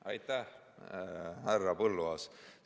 Aitäh, härra Põlluaas!